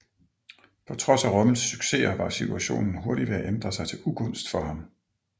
På trods af Rommels successer var situationen hurtigt ved at ændre sig til ugunst for ham